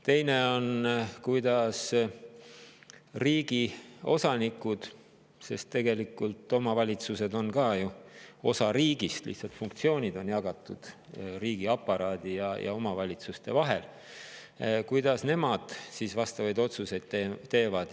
Teine on, kuidas riigi osanikud – tegelikult omavalitsused on ka ju osa riigist, lihtsalt funktsioonid on jagatud riigiaparaadi ja omavalitsuste vahel – vastavaid otsuseid teevad.